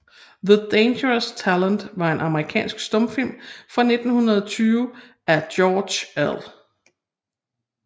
The Dangerous Talent er en amerikansk stumfilm fra 1920 af George L